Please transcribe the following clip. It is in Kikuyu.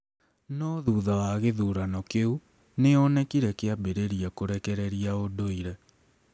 No thutha wa gĩthurano kĩu, nĩ onekire kĩambĩrĩria kũrekereria ũndũire.